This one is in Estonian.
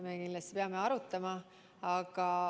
Me kindlasti peame seda arutama.